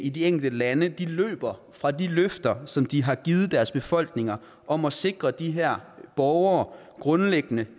i de enkelte lande løber fra de løfter som de har givet deres befolkninger om at sikre de her borgere grundlæggende